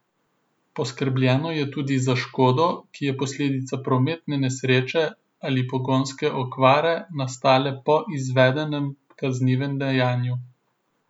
Poskrbljeno je tudi za škodo, ki je posledica prometne nesreče ali pogonske okvare, nastale po izvedenem kaznivem dejanju.